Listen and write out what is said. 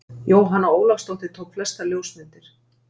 Jóhanna Ólafsdóttir tók flestar ljósmyndir.